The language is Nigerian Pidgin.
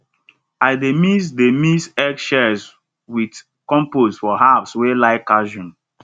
i dey mix dey mix egg shells with compost for herbs wey like calcium